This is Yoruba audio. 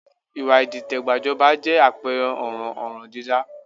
Ìwà ìdìtẹ̀gbàjọba jẹ́ àpẹẹrẹ ọ̀ràn ọ̀ràndídá